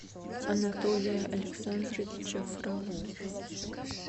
анатолия александровича фролова